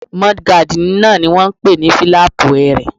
Múdúgáàdì náà ni wọ́n n pè ní fílàpù ẹrẹ̀